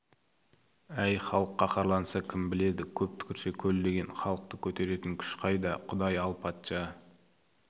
әй халық қаһарланса кім біледі көп түкірсе көл деген халықты көтеретін күш қайда құдай ал патша